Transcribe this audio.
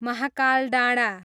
महाकाल डाँडा